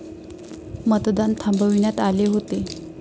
मतदान थांबविण्यात आले होते.